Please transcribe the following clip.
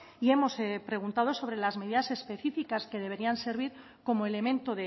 y hemos preguntado sobre las medidas específicas que deberían servir como elemento